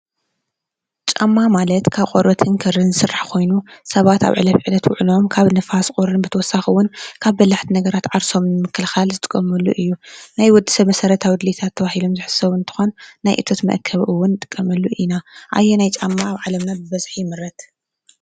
ጫማ ማለት ካብ ቆርበትን ክርን ዝስራሕ ኾይኑ ሰባት ኣብ ዕለት ዉዕለኦም ካብ ንፋስን ቁርን ብተወሳኺ እዉን ካብ በላሕቲ ነገራት ዓርሶም ንምክልኻል ዝጥቀምሉ እዩ ። ናይ ወድ-ሰብ መሰረታዊ ድሌታት ተባሂሎም ዝሕሰቡ እንትኾን፣ ናይ እቶት መእከቢ እዉን ንጥቀመሉ ኢና። ኣየናይ ጫማ ኣብ ዓለምና ብበዝሒ ይምረት?